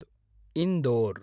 Indore